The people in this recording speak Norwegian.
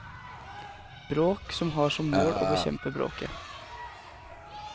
Bråk som har som mål å bekjempe bråket.